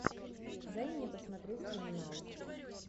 дай мне посмотреть криминал